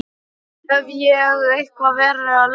Hef ég eitthvað verið að lemja þig?